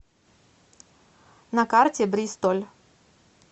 на карте бристоль